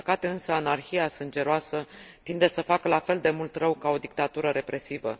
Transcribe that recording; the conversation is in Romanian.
Din păcate, însă, anarhia sângeroasă tinde să facă la fel de mult rău ca o dictatură represivă.